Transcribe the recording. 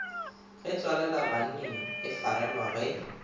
ge tswalelabanning e farelwa ge